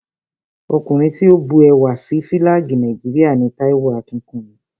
Ọkùnrin tí ó bu ẹwà sí Fílàgì Nàìjíríà ni Táíwò Akínkúnmi